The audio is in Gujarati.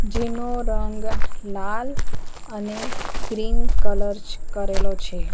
જેનો રંગ લાલ અને ગ્રીન કલર જ કરેલો છે.